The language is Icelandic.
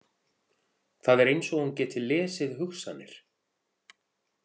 Það er eins og hún geti lesið hugsanir.